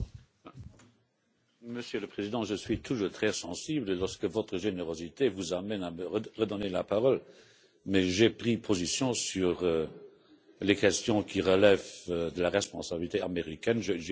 Monsieur le Président, je suis toujours très sensible lorsque votre générosité vous amène à me redonner la parole mais j'ai pris position sur les questions qui relèvent de la responsabilité américaine j'ai dit deux ou trois phrases.